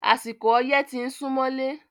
Àsìkò ọyẹ́ ti ń súmọ́lé.